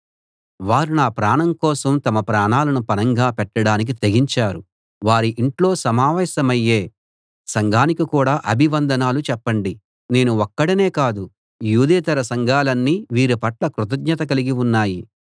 వారు నా ప్రాణం కోసం తమ ప్రాణాలను పణంగా పెట్టడానికి తెగించారు వారి ఇంట్లో సమావేశమయ్యే సంఘానికి కూడా అభివందనాలు చెప్పండి నేను ఒక్కడినే కాదు యూదేతర సంఘాలన్నీ వీరి పట్ల కృతజ్ఞత కలిగి ఉన్నాయి